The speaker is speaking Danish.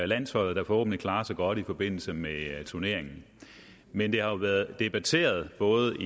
landsholdet der forhåbentlig klarer sig godt i forbindelse med turneringen men det har været debatteret i både